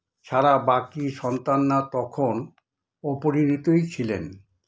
ছাড়া বাকি সন্তানরা তখন অপরিণতই ছিলেন।